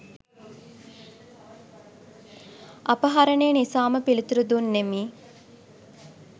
අපහරණය නිසාම පිළිතුරු දුන්නෙමි